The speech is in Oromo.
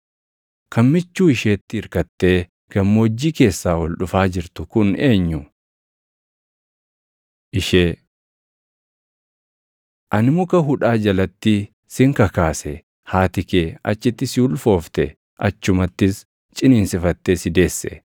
Kan michuu isheetti irkattee gammoojjii keessaa ol dhufaa jirtu kun eenyu? Ishee Ani muka hudhaa jalatti sin kakaase; haati kee achitti si ulfoofte; achumattis ciniinsifattee si deesse.